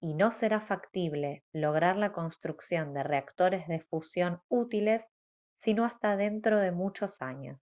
y no será factible lograr la construcción de reactores de fusión útiles sino hasta dentro de muchos años